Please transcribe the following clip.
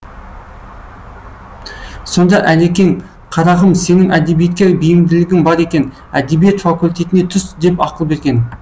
сонда әлекең қарағым сенің әдебиетке бейімділігің бар екен әдебиет факультетіне түс деп ақыл берген